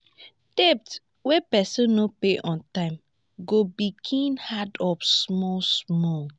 debt wey person no pay on time go begin add up small small